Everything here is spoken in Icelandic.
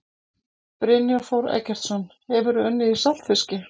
Brynjar Þór Eggertsson Hefurðu unnið í saltfiski?